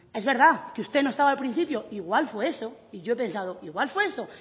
es verdad que usted no estaba al principio igual fue eso y yo he pensado igual fue eso